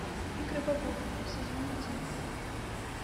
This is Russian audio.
игры богов сезон один